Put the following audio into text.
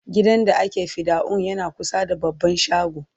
gidan da ake fidda'un yana kusa da baban shago